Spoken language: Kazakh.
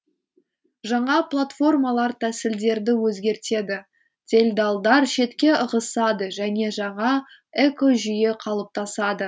жаңа платформалар тәсілдерді өзгертеді делдалдар шетке ығысады және жаңа экожүйе қалыптасады